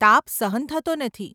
તાપ સહન થતો નથી.